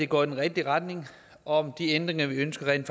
går i den rigtige retning og om de ændringer vi ønsker rent